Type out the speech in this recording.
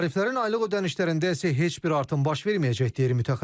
Tariflərin aylıq ödənişlərində isə heç bir artım baş verməyəcək, deyir mütəxəssis.